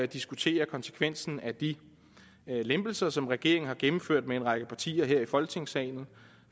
diskutere konsekvensen af de lempelser som regeringen har gennemført med en række partier her i folketingssalen